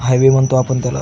Highway म्हणतो आपण त्याला.